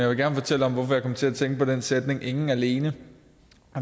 vil gerne fortælle om hvorfor jeg kom til at tænke på den sætning ingen alene